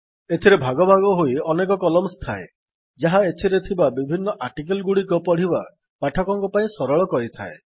ଏଥିରେ ଭାଗ ଭାଗ ହୋଇ ଅନେକ କଲମ୍ସ ଥାଏ ଯାହା ଏଥିରେ ଥିବା ବିଭିନ୍ନ ଆର୍ଟିକିଲଗୁଡ଼ିକ ପଢ଼ିବା ପାଠକମାନଙ୍କ ପାଇଁ ସରଳ କରିଥାଏ